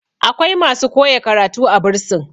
akwai masu koya karatu a bursin